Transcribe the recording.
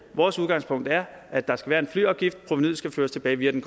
vores udgangspunkt er at der skal være en flyafgift provenuet skal føres tilbage via den